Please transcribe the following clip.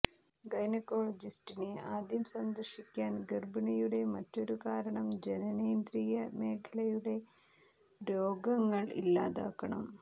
ഗൈനക്കോളജിസ്റ്റിനെ ആദ്യം സന്ദർശിക്കാൻ ഗർഭിണിയുടെ മറ്റൊരു കാരണം ജനനേന്ദ്രിയ മേഖലയുടെ രോഗങ്ങൾ ഇല്ലാതാക്കണം